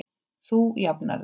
Þú jafnar þig.